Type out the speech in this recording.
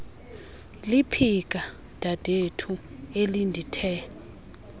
liphika dadethu elindithe